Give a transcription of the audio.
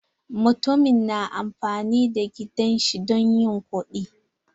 Mutumin na amfani da gidan shi don yin kuɗi.